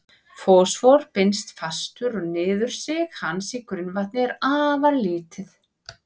Fosfór binst fastur og niðursig hans í grunnvatn er afar lítið.